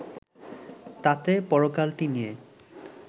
তাতে পরকালটি নিয়ে